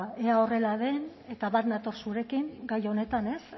ea horrela den eta bat nator zurekin gai honetan